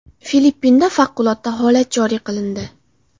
Filippinda favqulodda holat joriy qilindi.